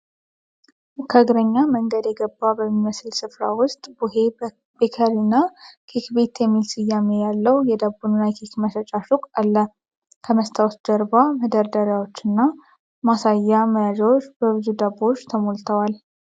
ከእግረኛ መንገድ የገባ በሚመስል ስፍራ ውስጥ ቡሄ ቤከሪና ኬክ ቤት የሚል ስያሜ ያለው የዳቦና የኬክ መሸጫ ሱቅ አለ። ከመስታወት ጀርባ መደርደሪያዎችና ማሳያ መያዣዎች በብዙ ዳቦ ተሞልተዋል።